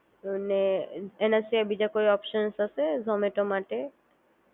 અને એના સિવાય બીજા કોઈ ઓપ્શન હશે ઝૉમેતો માટે